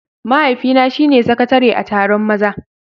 Mahaifina shine sakatare a taron maza.